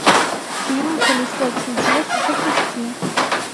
фильм колесо чудес запусти